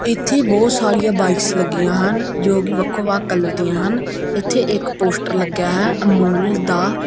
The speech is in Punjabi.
ਇੱਥੇ ਬਹੁਤ ਸਾਰੀਆਂ ਬਾਈਕਸ ਲੱਗੀਆਂ ਹਨ ਜੋ ਕਿ ਵੱਖੋ ਵੱਖ ਕਲਰ ਦਿਆਂ ਹਨ ਇੱਥੇ ਇੱਕ ਪੋਸਟਰ ਲੱਗਿਆ ਹੈ ਅਮੂਲ ਦਾ।